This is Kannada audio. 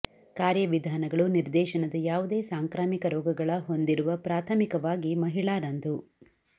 ಕಾರ್ಯವಿಧಾನಗಳು ನಿರ್ದೇಶನದ ಯಾವುದೇ ಸಾಂಕ್ರಾಮಿಕ ರೋಗಗಳ ಹೊಂದಿರುವ ಪ್ರಾಥಮಿಕವಾಗಿ ಮಹಿಳಾ ರಂದು